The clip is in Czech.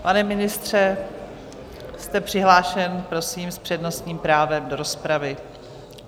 Pane ministře, jste přihlášen, prosím, s přednostním právem do rozpravy.